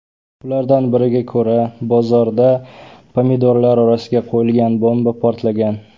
Ulardan biriga ko‘ra, bozorda pomidorlar orasiga qo‘yilgan bomba portlagan.